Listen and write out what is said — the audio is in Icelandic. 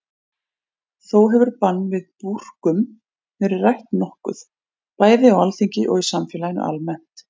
Þó hefur bann við búrkum verið rætt nokkuð, bæði á Alþingi og í samfélaginu almennt.